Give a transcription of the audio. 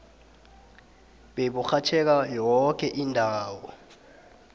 beburhatjheka yoke indawo